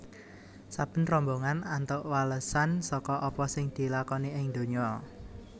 Saben rombongan antuk walesan saka apa sing dilakoni ing donya